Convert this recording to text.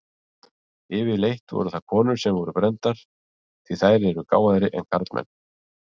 Yfirleitt voru það konur sem voru brenndar, því þær eru gáfaðri en karlmenn.